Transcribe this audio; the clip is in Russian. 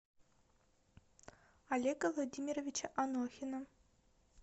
олега владимировича анохина